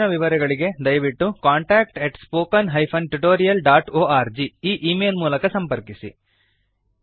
ಹೆಚ್ಚಿನ ವಿವರಗಳಿಗೆ ದಯವಿಟ್ಟು contactspoken tutorialorg ಈ ಈ ಮೇಲ್ ಮೂಲಕ ಸಂಪರ್ಕಿಸಿ